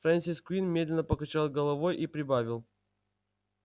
фрэнсис куинн медленно покачал головой и прибавил